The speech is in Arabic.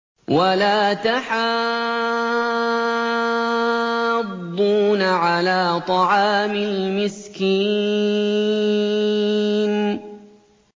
وَلَا تَحَاضُّونَ عَلَىٰ طَعَامِ الْمِسْكِينِ